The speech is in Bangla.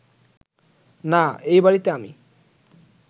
না, এই বাড়িতে আমি